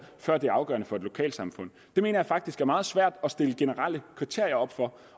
før det er afgørende for et lokalsamfund det mener jeg faktisk er meget svært at stille generelle kriterier op for